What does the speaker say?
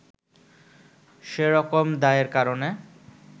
সে রকম দায়ের কারণে